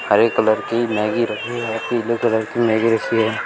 हरे colour की Maggi रखी है पीले कलर की मैगी रखी है।